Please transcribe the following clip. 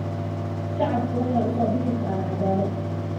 Shacabku waxay u soo bixi karaan cadaalad.